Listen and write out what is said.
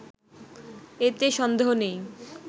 এতে সন্দেহ নেই